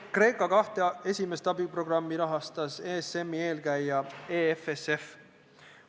Kreeka kahte esimest abiprogrammi rahastas ESM-i eelkäija EFSF.